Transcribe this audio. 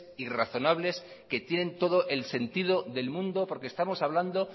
y razonables que tienen todo el sentido del mundo porque estamos hablando